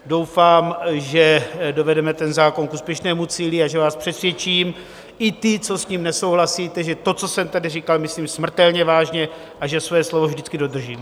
Doufám, že dovedeme ten zákon k úspěšnému cíli a že vás přesvědčím, i ty, co s tím nesouhlasíte, že to, co jsem tady říkal, myslím smrtelně vážně a že své slovo vždycky dodržím.